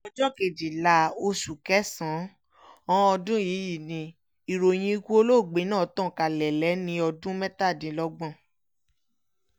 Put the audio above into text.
ọjọ́ kejìlá oṣù kẹsàn-án ọdún yìí ni ìròyìn ikú olóògbé náà tàn kálẹ̀ lẹ́ni ọdún mẹ́tàdínlọ́gbọ̀n